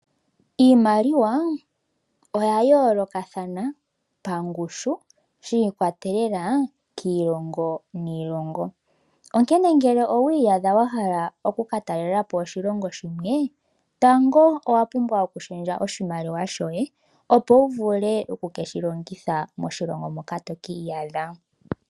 Iimaliwa oya yoolokathana pangushu shiikwatelela kiilongo niilongo. Onkene ngele owiiyadha wahala oku ka talelapo oshilongo shimwe . Tango owa pumbwa oku shendja oshimaliwa shoye opo wuvule oku ke shilongitha moshilongo moka tokiiyadha.